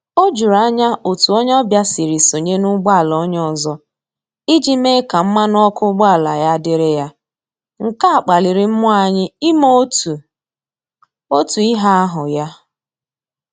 O juru anya otu onye ọbịa siri sonye n'ụgboala onye ọzọ iji mee ka mmanụ ọkụ ụgbọala ya dịrị ya, nke a kpaliri mmụọ anyị ime otu otu ihe ahụ ya